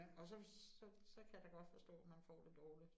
Og så, så så kan jeg da godt forstå, man får det dårligt